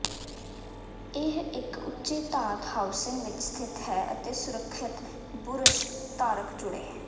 ਇਹ ਇੱਕ ਉੱਚੇ ਧਾਤ ਹਾਊਸਿੰਗ ਵਿੱਚ ਸਥਿਤ ਹੈ ਅਤੇ ਸੁਰੱਖਿਅਤ ਬੁਰਸ਼ ਧਾਰਕ ਜੁੜੇ